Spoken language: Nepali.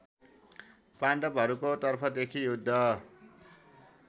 पाण्डवहरूको तर्फदेखि युद्ध